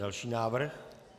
Další návrh.